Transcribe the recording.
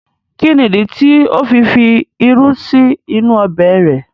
Kí ní ìdí tí ó fi fi irú sí inú ọbẹ̀ rẹ̀?